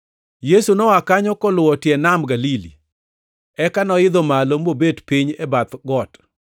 Yesu noa kanyo koluwo tie Nam Galili. Eka noidho malo mobet piny e bath got.